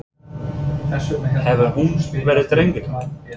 Hefur hún verið drengileg?